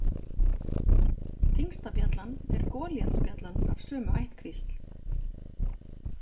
Þyngsta bjallan er golíatsbjallan af sömu ættkvísl.